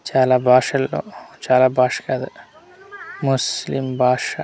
చాలా బాషలో చాలా బాష కాదు ముస్లిం బాష .